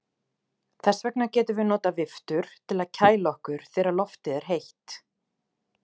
Þess vegna getum við notað viftur til að kæla okkur þegar loftið er heitt.